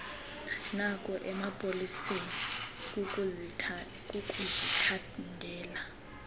noku emapoliseni kukuzithandela